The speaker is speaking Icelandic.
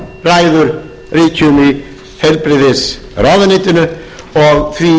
ræður ríkjum í heilbrigðisráðuneytinu og því